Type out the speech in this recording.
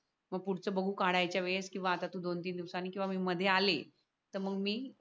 पुढचं बघू काढायच्या वेळेस किंवा आता दोन-तीन दिवसांनी किंवा मी मध्ये आले तर मग मी